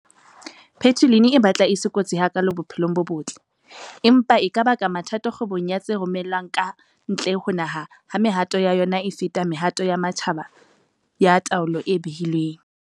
Patulin e batla e se kotsi hakaalo bophelong bo botle, empa e ka baka mathata kgwebong ya tse romellwang ka ntle ho naha ha mehato ya yona e feta mehato ya matjhaba ya taolo e behilweng.